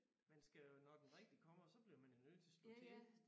Men skal jo når den rigtige kommer så bliver man jo nødt til at slå til